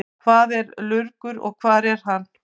Hvað er lurgur og hvar er hann?